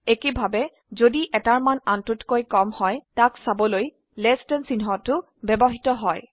একেভাবে যদি এটাৰ মান আনটোতকৈ কম হয় তাক চাবলৈ লেস দেন চিহ্নটো ব্যবহৃত হয়